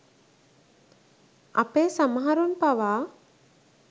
අපේ සමහරුන් පවා